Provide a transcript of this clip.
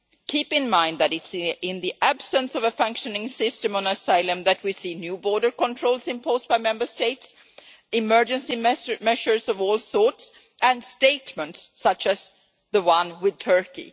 Keep in mind that it is in the absence of a functioning system on asylum that we see new border controls imposed by Member States, emergency measures of all sorts, and statements such as the one with Turkey.